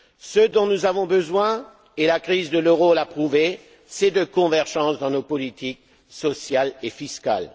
Ce dont nous avons besoin, et la crise de l'euro l'a prouvé, c'est de convergence dans nos politiques sociales et fiscales.